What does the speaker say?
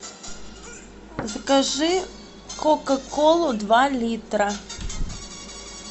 закажи кока колу два литра